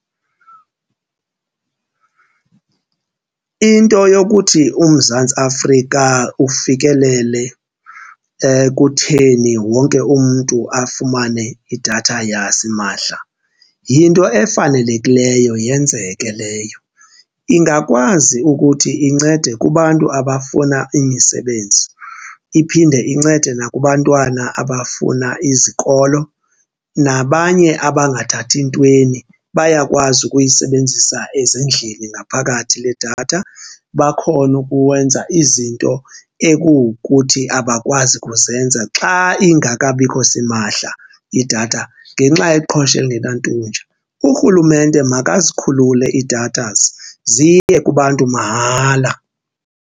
Into yokuthi uMzantsi Afrika ufikelele ekutheni wonke umntu afumane idatha yasimahla yinto efanelekileyo yenzeke leyo. Ingakwazi ukuthi incede kubantu abafuna imisebenzi iphinde incede nakubantwana abafuna izikolo, nabanye abangathathi ntweni bayakwazi ukuyisebenzisa ezindlini ngaphakathi le datha, bakhone ukwenza izinto ekuwukuthi abakwazi kuzenza xa ingekabikho simahla idatha ngenxa yeqhosha elingenantunja. Urhulumente makazikhulule iidathazi ziye kubantu mahala.